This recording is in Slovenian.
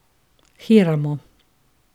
Hiramo.